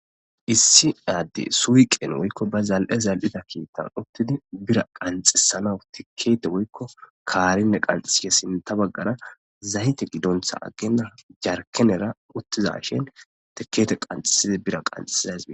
issi adde suyqen woykko ba zal7e zal7ida kiittan uttidi bira qanxesana tikkete woykko kaarinne qanxisiye sinta baggara zayte gidontha agenna jarkenera uttiza shin tikkete qanxesidi bira qanxeazasi